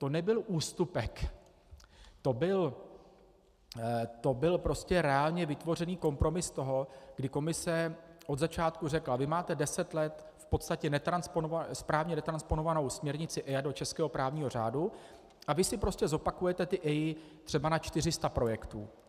To nebyl ústupek, to byl prostě reálně vytvořený kompromis toho, kdy Komise od začátku řekla: Vy máte deset let v podstatě správně netransponovanou směrnici EIA do českého právního řádu a vy si prostě zopakujete ty EIA třeba na 400 projektů.